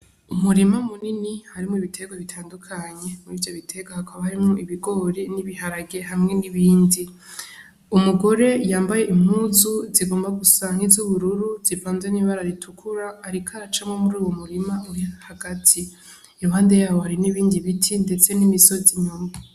Umurima munini harimwo ibiterwa bitandukanye, muri ivyo biterwa hakaba harimwo ibigori n'ibiharage hamwe n'ibindi. Umugore yambaye impuzu zigomba gusa n'izubururu zivanze n'ibara ritukura ariko aracamwo muri uyo murima hagati. Iruhande y'aho hari n'ibindi ibiti ndetse n'imisozi.